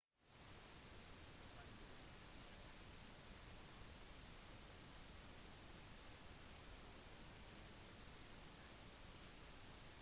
lokale medier melder at en flyplassbrannbil veltet da den skulle komme til unnsetning